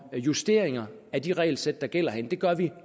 justeringer af de regelsæt der gælder herinde det gør vi